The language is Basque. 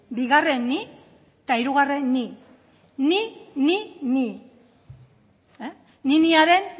bigarren ni eta hirugarren ni ni ni ni niniaren